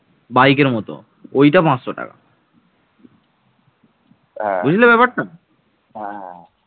বাংলার প্রাচীন অঞ্চলগুলো হচ্ছে ভাগীরথী-হুগলী অববাহিকা